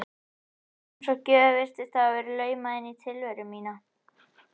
Hlaupin voru eins og gjöf sem virtist hafa verið laumað inn í tilveru mína.